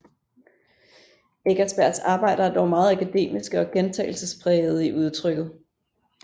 Eckersbergs arbejder er dog meget akademiske og gentagelsesprægede i udtrykket